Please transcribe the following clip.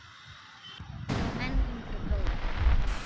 Hún á einn yngri bróður.